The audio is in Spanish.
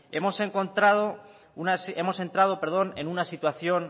hemos entrado en una situación